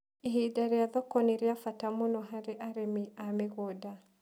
Ihinda rĩa thoko nĩ rĩa bata mũno harĩ arĩmi a mĩgũnda.